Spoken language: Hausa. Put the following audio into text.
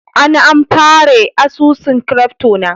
an amfare asusun " crypto" na.